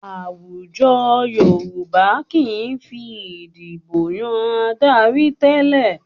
Àwùjọ Yorùbá kì í fi ìdibò yan adarí tẹ́lẹ̀